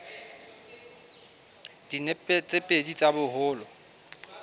dinepe tse pedi tsa boholo